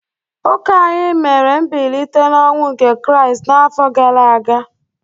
Ụka anyị mere mbilite n’ọnwụ nke Kraịst n’afọ gara aga.